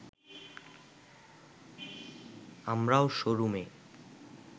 আমরাও শোরুমে